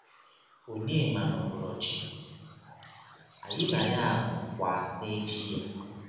Ọnyema nọbọrọ chi, anyị na ya anọọkwa n’echi ya.